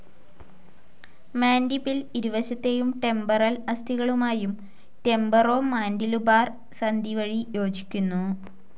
മാൻഡിബിൽ ഇരുവശത്തേയും ടെമ്പറൽ അസ്ഥികളുമായും temporo mandibular സന്ധി വഴി യോജിക്കുന്നു.